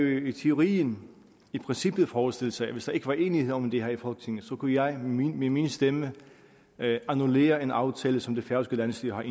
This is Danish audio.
jo i teorien i princippet forestille sig at hvis der ikke var enighed om det her i folketinget kunne jeg med min stemme annullere en aftale som det færøske landsstyre